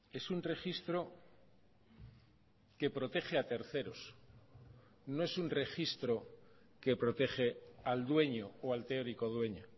es un registro que protege a terceros no es un registro que protege al dueño o al teórico dueño